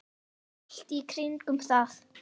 Allt í kringum það.